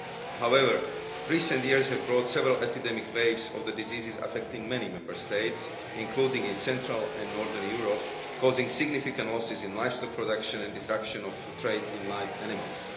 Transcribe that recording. However, recent years have brought several epidemic waves of the disease, affecting many Member States, including in central and northern Europe, causing significant losses to livestock production and disruption of the trade in live animals.